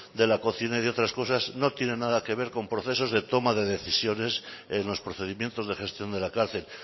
de la cocina y otras cosas no tiene nada que ver con procesos de toma de decisiones en los procedimientos de gestión de la cárcel